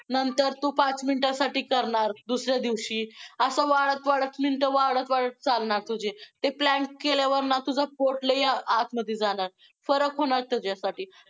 नंतर तू पाच minute साठी करणार दुसऱ्या दिवशी, असं वाढत वाढत minute वाढत वाढत चालणार तुझी, ते plank केल्यावर ना तुझं पोट लय आतमध्ये जाणार, फरक होणार तुझ्यासाठी.